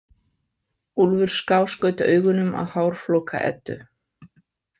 Úlfur skáskaut augunum að hárflóka Eddu.